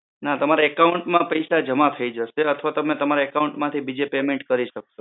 ના, તમારા account માં પૈસા જમા થાય જશે અથવા તમે તમારા account માંથી બીજી વખત payment કરી શકો.